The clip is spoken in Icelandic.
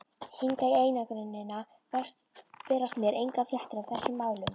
Hingað í einangrunina berast mér engar fréttir af þessum málum.